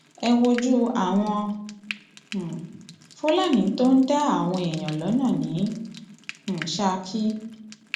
ẹ wojú àwọn um fúlàní tó ń dá àwọn èèyàn lọnà ní um ṣákì